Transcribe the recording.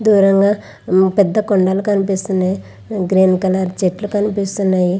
దూరంగా పెద్ద కొండలు కనిపిస్తున్నాయ్. గ్రీన్ కలర్ చెట్లు కనిపిస్తున్నాయి.